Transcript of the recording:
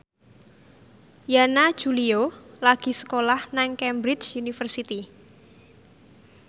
Yana Julio lagi sekolah nang Cambridge University